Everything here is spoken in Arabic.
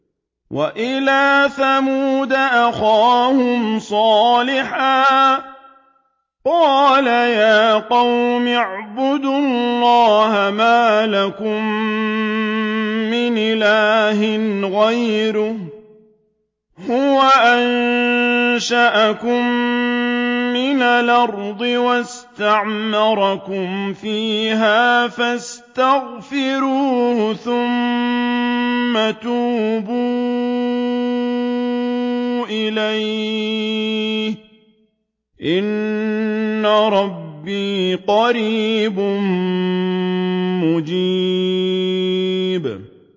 ۞ وَإِلَىٰ ثَمُودَ أَخَاهُمْ صَالِحًا ۚ قَالَ يَا قَوْمِ اعْبُدُوا اللَّهَ مَا لَكُم مِّنْ إِلَٰهٍ غَيْرُهُ ۖ هُوَ أَنشَأَكُم مِّنَ الْأَرْضِ وَاسْتَعْمَرَكُمْ فِيهَا فَاسْتَغْفِرُوهُ ثُمَّ تُوبُوا إِلَيْهِ ۚ إِنَّ رَبِّي قَرِيبٌ مُّجِيبٌ